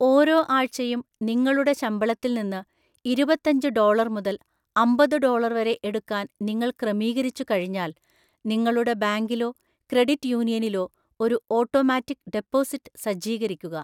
ഓരോ ആഴ്‌ചയും നിങ്ങളുടെ ശമ്പളത്തിൽ നിന്ന് ഇരുപത്തഞ്ചു ഡോളര്‍ മുതൽ അമ്പതു ഡോളര്‍ വരെ എടുക്കാൻ നിങ്ങൾ ക്രമീകരിച്ചുകഴിഞ്ഞാൽ, നിങ്ങളുടെ ബാങ്കിലോ ക്രെഡിറ്റ് യൂണിയനിലോ ഒരു ഓട്ടോമാറ്റിക് ഡെപ്പോസിറ്റ് സജ്ജീകരിക്കുക.